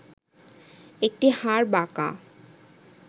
একটি হাড় বাঁকা